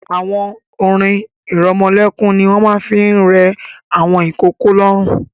Àwọn orin-ìrọmọlẹ́kún ni wọ́n máa ń fi ń rẹ àwọn ìkókó lóórun.